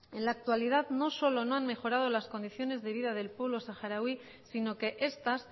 en la actualidad no solo no han mejorado las condiciones de vida del pueblo saharaui sino que estas